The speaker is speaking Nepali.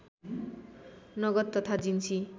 नगद तथा जिन्सी